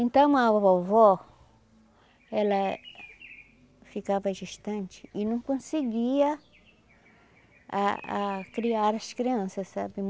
Então a vovó, ela ficava distante e não conseguia a a criar as crianças, sabe?